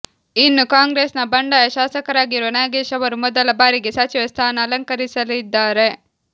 ಇನ್ನು ಕಾಂಗ್ರೆಸ್ನ ಬಂಡಾಯ ಶಾಸಕರಾಗಿರುವ ನಾಗೇಶ್ ಅವರು ಮೊದಲ ಬಾರಿಗೆ ಸಚಿವ ಸ್ಥಾನ ಅಲಂಕರಿಸಲಿದ್ದಾರೆ